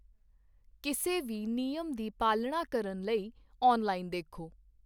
ਕਿਸੇ ਵੀ ਨਿਯਮ ਦੀ ਪਾਲਣਾ ਕਰਨ ਲਈ ਔਨਲਾਈਨ ਦੇਖੋ।